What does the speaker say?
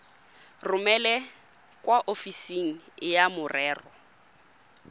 romele kwa ofising ya merero